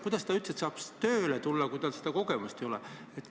Kuidas ta üldse saab tööle tulla, kui tal seda kogemust ei ole?